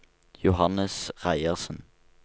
Johannes Reiersen